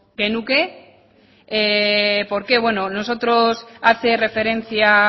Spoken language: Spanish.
ginateke por qué hace referencia